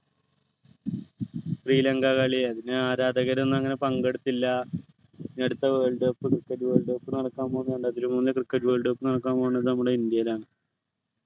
ശ്രീലങ്ക കളി അതിനു ആരാധകരൊന്നും അങ്ങനെ പങ്കെടുത്തില്ല ഇനി അടുത്ത world cup നടക്കാൻ പോകുന്നുണ്ട് അതിനു മുന്നേ cricket world cup നടക്കാൻ പോകുന്നത് നമ്മുടെ ഇന്ത്യയിലാണ്